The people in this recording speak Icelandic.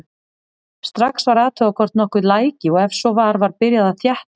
Strax var athugað hvort nokkuð læki og ef svo var var byrjað að þétta.